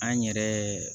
An yɛrɛ